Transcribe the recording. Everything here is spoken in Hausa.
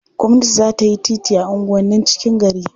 Gwamnati za ta yi titi a unguwannin cikin gari.